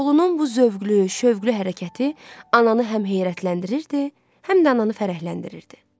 Oğlunun bu zövqlü, şövqlü hərəkəti ananı həm heyrətləndirirdi, həm də ananı fərəhləndirirdi.